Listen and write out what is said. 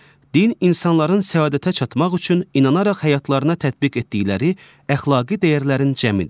Din insanların səadətə çatmaq üçün inanaraq həyatlarına tətbiq etdikləri əxlaqi dəyərlərin cəmidir.